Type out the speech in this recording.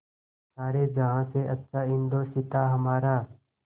सारे जहाँ से अच्छा हिन्दोसिताँ हमारा